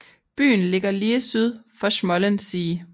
Byen ligger lige syd for Schmollensee